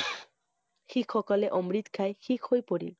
শিখসকলে অমৃত খাই শিখ হৈ পৰিল।